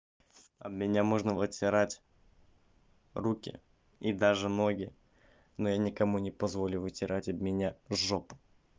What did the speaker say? об меня можно вытирать руки и даже ноги но я никому не позволю вытирать об меня жопу